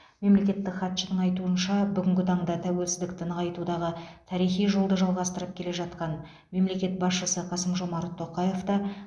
мемлекеттік хатшының айтуынша бүгінгі таңда тәуелсіздікті нығайтудағы тарихи жолды жалғастырып келе жатқан мемлекет басшысы қасым жомарт тоқаев та